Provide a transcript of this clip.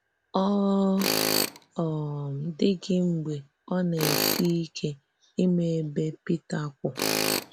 Ọ um dị̀ghị mgbe ò na-èsì ìké ịmà ebe Pítà kwụ́.